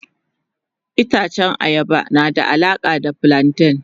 Itacen ayaba na da alaka da flanten.